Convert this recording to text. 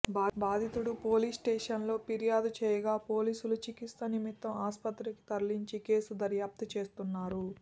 బాధితుడు పోలీస్స్టేషన్లో ఫిర్యాదు చేయగా పోలీసులు చికిత్స నిమిత్తం ఆస్పత్రికి తరలించి కేసు దర్యాప్తు చేస్తున్నారు